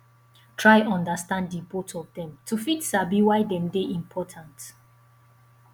try understand di both of dem to fit sabi why dem de important